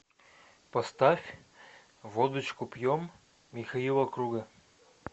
поставь водочку пьем михаила круга